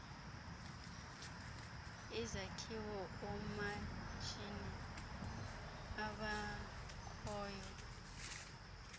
izakhiwo oomatshini abakhoyo